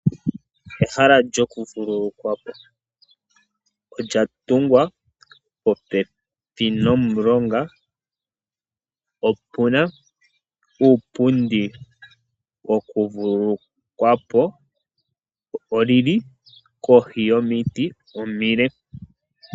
Ehala lyokuvululukwapo olya tungwa popepi nomulonga, opu na uupundi wokuvululukwapo nolili kohi yomiti omile.